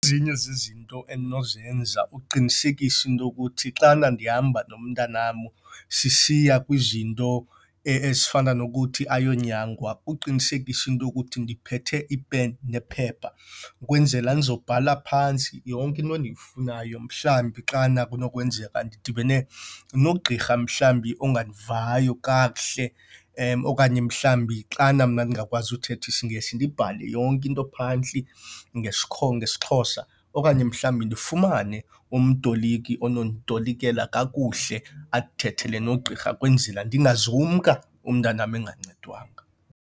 Ezinye zezinto endinozenza uqinisekisa into yokuthi xana ndihamba nomntanam sisiya kwizinto ezifana nokuthi ayonyangwa uqinisekisa into yokuthi ndiphethe ipeni nephepha kwenzela ndizobhala phantsi yonke into endiyifunayo. Mhlambi xana kunokwenzeka ndidibene nogqirha mhlambi ongandivayo kakuhle okanye mhlambi xana mna ndingakwazi uthetha isiNgesi, ndibhale yonke into phantsi ngesiXhosa. Okanye mhlambi ndifumane umtoliki ononditolikela kakuhle, andithethele nogqirha kwenzele ndingazumka umntanam engancedwanga.